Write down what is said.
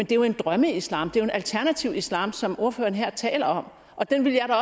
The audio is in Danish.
det jo en drømmeislam en alternativ islam som ordføreren her taler om og den ville